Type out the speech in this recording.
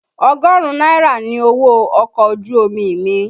Ọgọrun náírà ni owó ọkọ̀ ojú omi mi.